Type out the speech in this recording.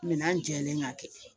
Minɛn jɛlen k'a kɛ